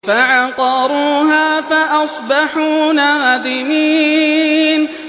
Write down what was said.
فَعَقَرُوهَا فَأَصْبَحُوا نَادِمِينَ